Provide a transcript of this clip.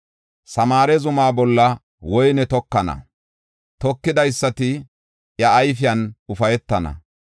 Samaare zumaa bolla woyne tokana; tokidaysati iya ayfiyan ufaytana.